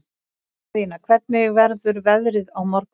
Daðína, hvernig verður veðrið á morgun?